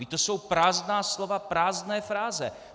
Vždyť to jsou prázdná slova, prázdné fráze.